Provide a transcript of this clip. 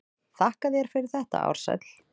Þakka þér fyrir þetta Ársæll.